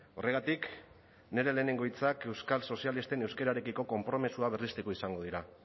horregatik nire lehenengo hitzak euskal sozialisten euskararekiko konpromisoa berresteko izango dira